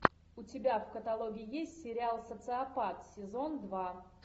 у тебя в каталоге есть сериал социопат сезон два